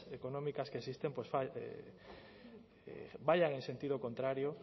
económicas que existen pues vayan en sentido contrario